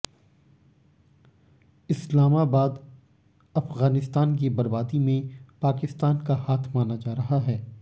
इस्लामाबादः अफगानिस्तान की बर्बादी में पाकिस्तान का हाथ माना जा रहा है